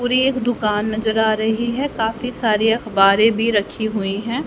पूरी एक दुकान नजर आ रही है काफी सारी अखबारी भी रखी हुई है।